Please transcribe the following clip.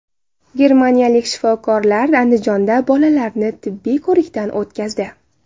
Germaniyalik shifokorlar Andijonda bolalarni tibbiy ko‘rikdan o‘tkazdi.